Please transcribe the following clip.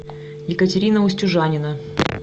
екатерина устюжанина